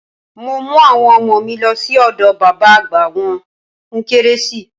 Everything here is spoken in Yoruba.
Mo mú àwọn ọmọ mi lọ sí ọ̀dọ̀ bàbá àgbà wọ́n fún kérésì.